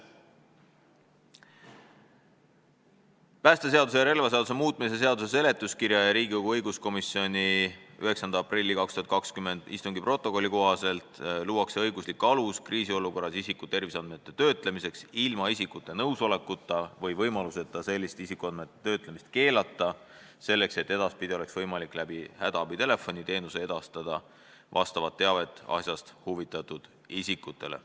" President märgib, et päästeseaduse ja relvaseaduse muutmise seaduse seletuskirja ja Riigikogu õiguskomisjoni 9. aprilli 2020 istungi protokolli kohaselt luuakse õiguslik alus kriisiolukorras isiku terviseandmete töötlemiseks ilma isikute nõusolekuta või võimaluseta sellist isikuandmete töötlemist keelata selleks, et edaspidi oleks võimalik läbi hädaabitelefoni teenuse edastada vastavat teavet asjast huvitatud isikutele.